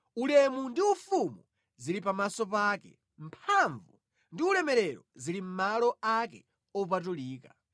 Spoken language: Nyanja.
Ulemu ndi ufumu zili pamaso pake, mphamvu ndi ulemerero zili mʼmalo ake opatulika.